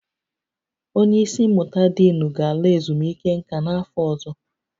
Onye isi mmụta diinu ga-ala ezumike nka n'afọ ọzọ